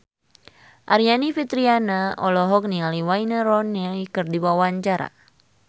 Aryani Fitriana olohok ningali Wayne Rooney keur diwawancara